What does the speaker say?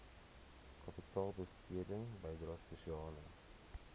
kapitaalbesteding bydrae spesiale